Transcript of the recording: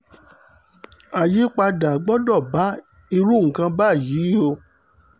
àyípadà gbọ́dọ̀ bá irú nǹkan báyìí o